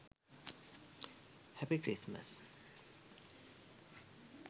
happy christmas